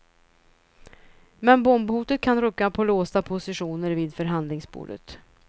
Men bombhotet kan rucka på låsta positioner vid förhandlingsbordet.